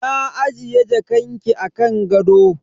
Na ajiye jakanki a kan gado.